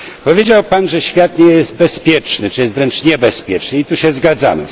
Powiedział Pan, że świat nie jest bezpieczny, że jest wręcz niebezpieczny i tu się zgadzamy.